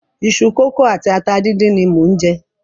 Iṣu kókò àti ata díndín ni mò ń jẹ.